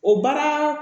O baara